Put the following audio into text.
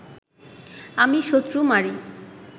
আমি শত্রু মারি